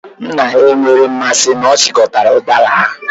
Nna ya enweghị mmasị na ọ chịkọtara udara ahu.